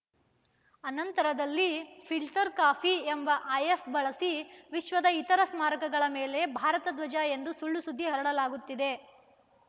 ಅನಂತರದಲ್ಲಿ ಫಿಲ್ಟರ್‌ ಕಾಪಿ ಎಂಬ ಆ್ಯಪ್‌ ಬಳಸಿ ವಿಶ್ವದ ಇತರ ಸ್ಮಾರಕಗಳ ಮೇಲೆ ಭಾರತ ಧ್ವಜ ಎಂದು ಸುಳ್ಳುಸುದ್ದಿ ಹರಡಲಾಗುತ್ತಿದೆ